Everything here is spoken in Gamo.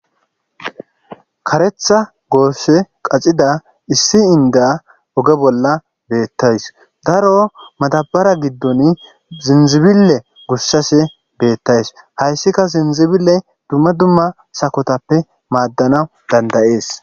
karetha goosse qacida issi inda oge bolla beettays daro matabara giddon zinzibile gossase beettays hayssika zinzibile dumma dumma sakotappe maaddana dandayees